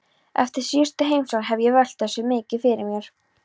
Eftir síðustu heimsókn hef ég velt þessu mikið fyrir mér.